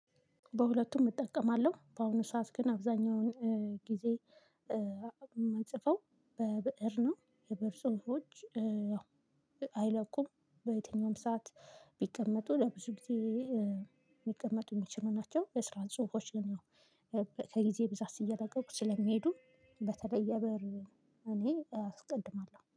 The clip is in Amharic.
በሁለቱም እጠቀማለሁ በአሁኑ ሰዓት ግን አብዛኛውን ጊዜ ምንጽፈው በብእር ነው የብእር ጽሁፎች አይለቁም በየትኛውም ሰዓት ቢቀመጡ ለብዙ ጊዜ የሚቀመጡ የሚችሉ ናቸው። የስራ ጽሁፎች ግን ያው ከጊዜ ብዛት እየለቀቁ ስለሚሄዱ በተለይ በእር እኔ አስቀድማለሁ